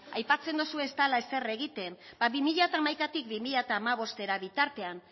aipatzen dozue ez dala ezer egiten ba bi mila hamaikatik bi mila hamabostera bitartean